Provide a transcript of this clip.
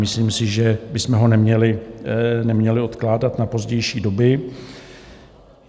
Myslím si, že bychom ho neměli odkládat na pozdější dobu.